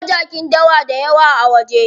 Munga jakin dawa dayawa a waje.